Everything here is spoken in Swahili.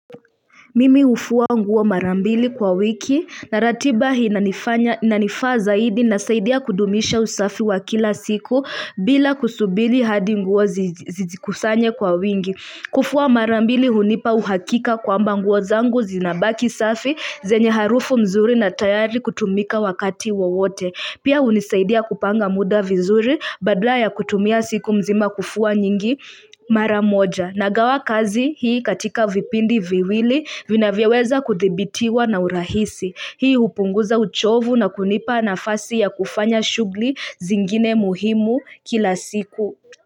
Mimi hufua nguo mara mbili kwa wiki, na ratiba hii inanifaa zaidi inasaidia kudumisha usafi wa kila siku bila kusubili hadi nguo zijikusanye kwa wingi kufua mara mbili hunipa uhakika kwamba nguo zangu zinabaki safi, zenye harufu mzuri na tayari kutumika wakati wowote Pia hunisaidia kupanga muda vizuri baadala ya kutumia siku mzima kufua nyingi mara moja. Nagawa kazi hii katika vipindi viwili vinavyoweza kuthibitiwa na urahisi. Hii hupunguza uchovu na kunipa nafasi ya kufanya shughuli zingine muhimu kila siku.